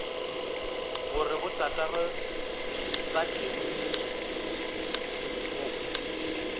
gore botatagwe ba tlemile go